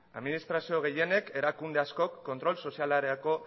administrazio gehienek erakunde askok kontrol sozialerako